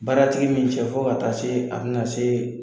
Baaratigi ni i cɛ fo ka taa se a bi na se